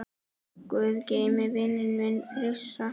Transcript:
Guð geymi vininn minn Frissa.